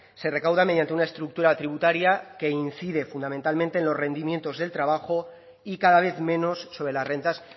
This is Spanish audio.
se recauda mediante una estructura tributaria que incide fundamentalmente en los rendimientos del trabajo y cada vez menos sobre las rentas